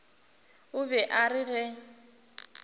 o be a re ge